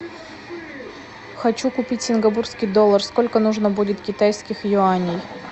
хочу купить сингапурский доллар сколько нужно будет китайских юаней